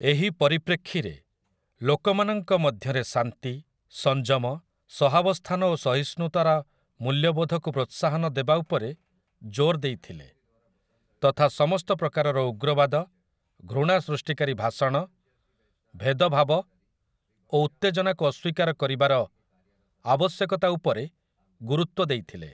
ଏହି ପରିପ୍ରେକ୍ଷୀରେ, ଲୋକମାନଙ୍କ ମଧ୍ୟରେ ଶାନ୍ତି, ସଂଯମ, ସହାବସ୍ଥାନ ଓ ସହିଷ୍ଣୁତାର ମୂଲ୍ୟବୋଧକୁ ପ୍ରୋତ୍ସାହନ ଦେବା ଉପରେ ଜୋର ଦେଇଥିଲେ ତଥା ସମସ୍ତ ପ୍ରକାରର ଉଗ୍ରବାଦ, ଘୃଣା ସୃଷ୍ଟିକାରୀ ଭାଷଣ, ଭେଦଭାବ ଓ ଉତ୍ତେଜନାକୁ ଅସ୍ୱୀକାର କରିବାର ଆବଶ୍ୟକତା ଉପରେ ଗୁରୁତ୍ୱ ଦେଇଥିଲେ ।